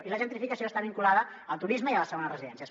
i la gentrificació està vinculada al turisme i a les segones residències